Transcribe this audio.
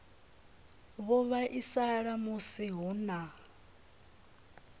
vho vhaisala musi hu na